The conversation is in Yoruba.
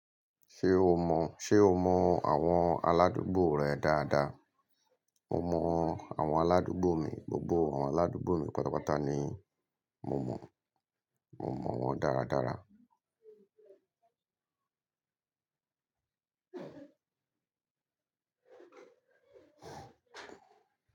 Ṣé o mọ, ṣe o mọ àwọn aládùúgbò rẹ dáadáa? Mo mọ àwọn aládùúgbò mi, gbogbo àwọn aládùúgbò mi pátápátá ni mo mọ, mo mọ wọ́n dáradára.